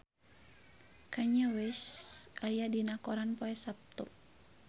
Kanye West aya dina koran poe Saptu